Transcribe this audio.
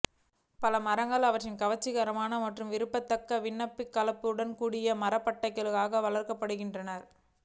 பல மரங்கள் அவற்றின் கவர்ச்சிகரமான மற்றும் விரும்பத்தக்க வண்ணகலப்புகளுடன் கூடிய மரப்பட்டைகளுக்காக வளர்க்கப்படுகின்றன